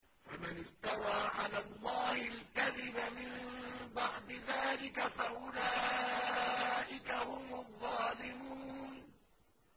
فَمَنِ افْتَرَىٰ عَلَى اللَّهِ الْكَذِبَ مِن بَعْدِ ذَٰلِكَ فَأُولَٰئِكَ هُمُ الظَّالِمُونَ